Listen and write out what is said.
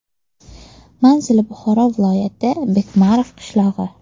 Manzili Buxoro viloyati, Bekmarov qishlog‘i.